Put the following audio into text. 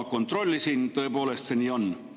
Kontrollisin, tõepoolest see nii on.